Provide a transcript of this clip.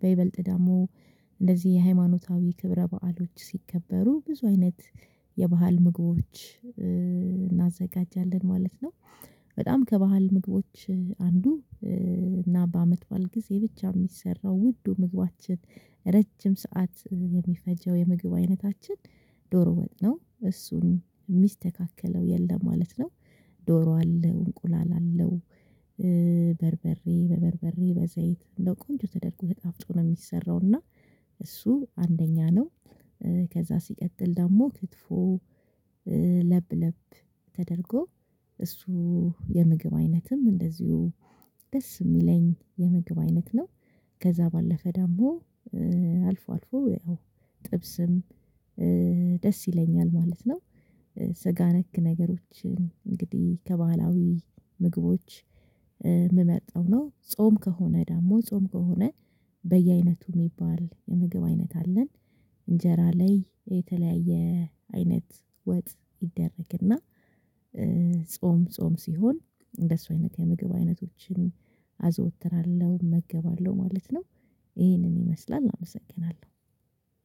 በይበልጥ ደግሞ እንደዚህ የሃይማኖታዊ ክብረ በዓሎች ሲከበሩ ብዙ አይነት የባህል ምግቦች እናዘጋጃለን ማለት ነው። በጣም ከባህል ምግቦች አንዱ እና በአመት በዓል ጊዜ ብቻ የሚሰራው ውዱ ምግባችን ረጅም ሰዓት የሚፈጀው የምግብ አይነታችን ዶሮ ወጥ ነው እሱን የሚስተካከለው የለም ማለት ነው። ዶሮ አለ እንቁላል አለው በርበሬ በበርበሬ በዘይት ለ ቆንጆ ተደርጎ ተጣፍጦ ነው የሚሰራው እና እሱ አንደኛ ነው። ከዛ ሲቀጥል ደግሞ ክትፎ ለብለብ ተደርጎ እሱ የምግብ አይነትም እንደዚሁ ደስ የሚለኝ የምግብ አይነት ነው። ከዛ ባለፈ ደግሞ አልፎ አልፎ ያው ጥብስም ደስ ይለኛል ማለት ነው። ስጋ ነክ ነገሮችን እንግዲህ ከባህላዊ ምግቦች የምመርጠው ነው ጾም ከሆነ ደግሞ ጾም ከሆነ በየአይነቱ የሚባል የምግብ አይነት አለን። እንጀራ ላይ የተለያየ አይነት ወጥ ይደረግና ጾም ጾም ሲሆን እንደሱ አይነት የምግብ አይነቶችን አዘወትራለሁ እመገባለሁ ማለት ነው። ይሄንን ይመስላል አመሰግናለሁ።